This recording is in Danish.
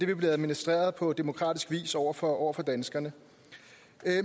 vil blive administreret på demokratisk vis over for over for danskerne